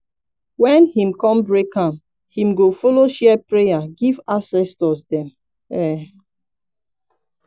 wen him kon break am him go follow share prayer give ancestors dem um